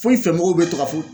Fo i fɛ mɔgɔw bɛ to ka fɔ